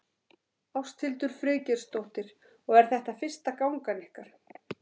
Ásthildur Friðgeirsdóttir: Og er þetta fyrsta gangan ykkar?